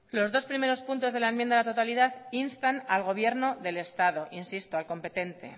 los dos primeros puntos de la enmienda a la totalidad instan al gobierno del estado insisto al competente